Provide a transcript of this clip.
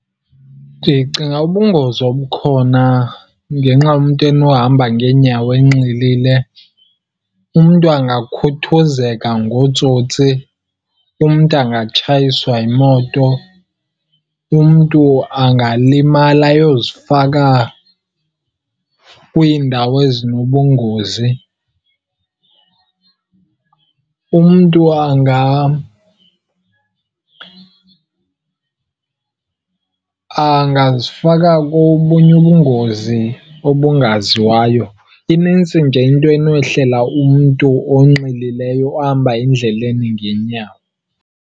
Ndicinga ubungozi obukhona ngenxa umntu enohamba ngeenyawo enxilile, umntu angakhuthuzeka ngootsotsi, umntu angatshayiswa yimoto, umntu angalimala ayozifaka kwiindawo ezinobungozi, umntu angazifaka kobunye ubungozi obungaziwayo. Inintsi nje into enohlela umntu onxilileyo ohamba endleleni ngeenyawo.